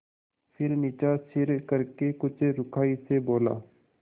फिर नीचा सिर करके कुछ रूखाई से बोला